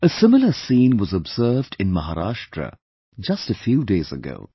A similar scene was observed in Maharashtra just a few days ago